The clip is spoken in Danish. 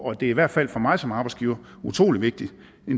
og det er i hvert fald for mig som arbejdsgiver en utrolig vigtigt